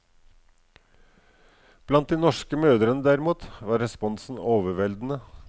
Blant de norske mødrene derimot, var responsen overveldende.